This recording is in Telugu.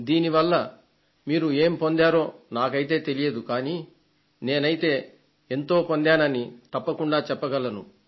దీని వల్ల మీరు ఏం పొందారో నాకైతే తెలియదు కానీ నేనైతే ఎంతో పొందానని తప్పకుండా చెప్పగలను